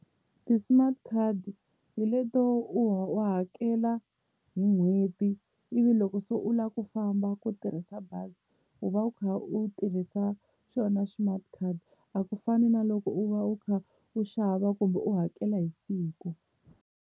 Ti-smart card hi leto wa hakela hi n'hweti ivi loko se u lava ku famba ku tirhisa bazi u va u kha u tirhisa xona smart card, a ku fani na loko u va u kha u xava kumbe u hakela hi siku.